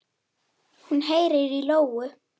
Hún heyrir í lóu.